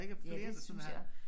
Ja det synes jeg også